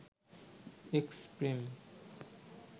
'x Prem'